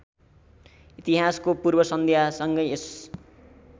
इतिहासको पूर्वसन्ध्यासँगै यस